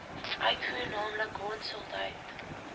uitvoer naamlik hondsdolheid